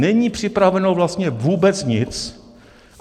Není připraveno vlastně vůbec nic.